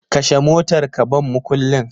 Kashe motar ka ban mukullin